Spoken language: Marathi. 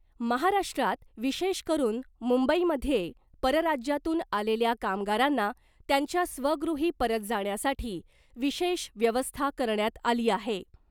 महाराष्ट्रात विशेष करुन मुंबईमध्ये परराज्यातून आलेल्या कामगारांना त्यांच्या स्वगृही परत जाण्यासाठी विशेष व्यवस्था करण्यात आली आहे .